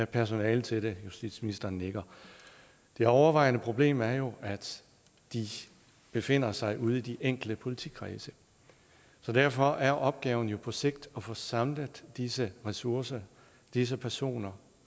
personale til det justitsministeren nikker det overvejende problem er jo at de befinder sig ude i de enkelte politikredse så derfor er opgaven på sigt at få samlet disse ressourcer disse personer